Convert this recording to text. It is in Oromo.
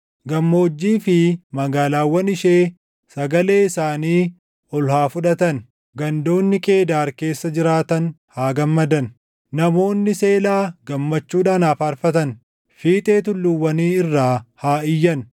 Gammoojjii fi magaalaawwan ishee sagalee isaanii ol haa fudhatan; gandoonni Qeedaar keessa jiraatan haa gammadan. Namoonni Seelaa gammachuudhaan haa faarfatan; fiixee tulluuwwanii irraa haa iyyan.